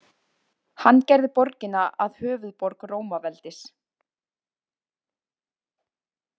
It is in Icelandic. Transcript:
Hann gerði borgina að höfuðborg Rómaveldis.